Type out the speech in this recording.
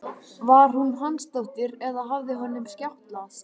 Var hún Hansdóttir eða hafði honum skjátlast?